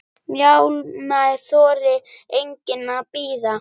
Málið þolir enga bið.